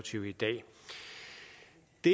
det